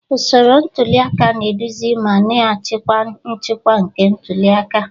Usoro ntuli aka na-eduzi ma na-achịkwa nchịkwa nke ntuli aka.